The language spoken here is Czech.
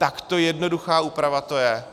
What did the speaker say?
Takto jednoduchá úprava to je.